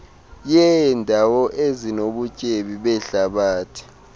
yeendawo ezinobutyebi behlabathi